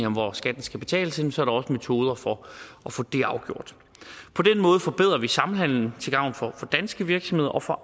om hvor skatten skal betales henne så er der også metoder for at få det afgjort på den måde forbedrer vi samhandelen til gavn for danske virksomheder og for